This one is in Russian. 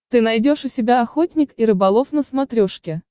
ты найдешь у себя охотник и рыболов на смотрешке